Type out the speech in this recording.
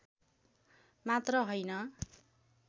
मात्र हैन